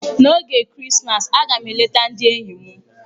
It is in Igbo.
N'oge Krismas, a ga m eleta ndị enyi m.